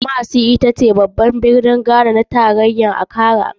Kumasi itace guri na biyu mafi faɗi a kasar ghana bayan birnin tarayarta, accra.